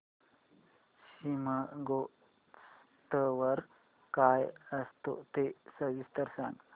शिमगोत्सव काय असतो ते सविस्तर सांग